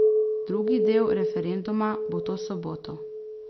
Drugi del referenduma bo to soboto.